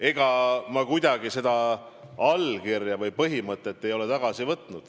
Ega ma seda allkirja või põhimõtet ei eita.